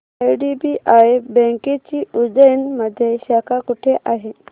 IDBI बँकेची उज्जैन मध्ये शाखा कुठे आहे